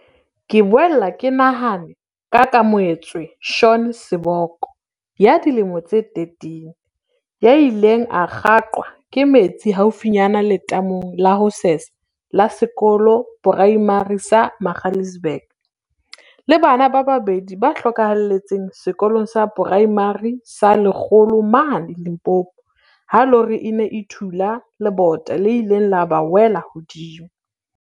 Ke boele ke nahane ka Keamohe tswe Shaun Seboko, ya dilemo tse 13, ya ileng a kgaqwa ke metsi haufinyane letamong la ho sesa la sekolo poraemare sa Magaliesburg, le bana ba babedi ba hlokahaletseng Sekolong sa Poraemare sa Lekgolo mane Limpopo ha lori e ne e thula le bota le ileng la ba wela hodimo.